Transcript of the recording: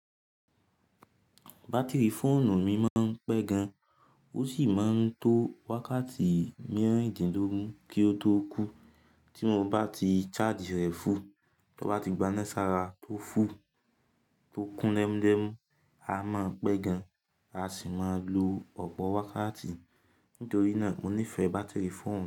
Batiri fóònù mi máa ń pẹ́ gan, ósì máa ń to wákàtí mìíràn dín lógun kí ó tó kú. Tí mo bá ti charge rẹ full, tí ó bá ti gbanẹ́sara tó full, tó kún lẹ́mlẹ́m, á máa pẹ́ gan, a sì máa lo ọ̀pọ̀ wákàtí. Nítorí náà, mo nífẹ̀ẹ́ batiri fóònù mi.